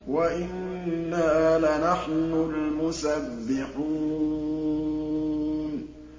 وَإِنَّا لَنَحْنُ الْمُسَبِّحُونَ